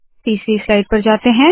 तीसरी स्लाइड पर जाते है